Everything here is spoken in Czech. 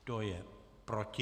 Kdo je proti?